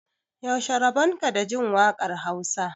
yaushe rabonka da Jin wakar Hausa